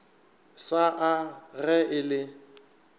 sa a ge e le